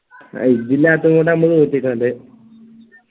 ആ ഇജ്ജില്ലാത്തോണ്ടാ ന്മ തൊട്ടിട്ടോണ്ട്